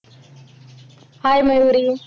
hi Mayuri.